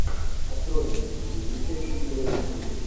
открой мстители величайшие герои земли